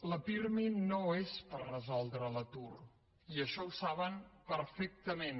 la pirmi no és per resoldre l’atur i això ho saben perfectament